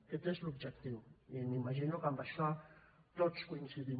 aquest és l’objectiu i m’imagino que en això tots coincidim